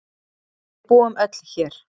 Við búum öll hér.